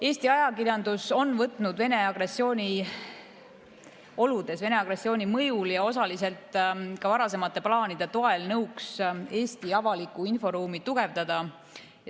Eesti ajakirjandus on võtnud Venemaa agressiooni oludes, Venemaa agressiooni mõjul ja osaliselt ka varasemate plaanide toel nõuks Eesti avalikku inforuumi tugevdada.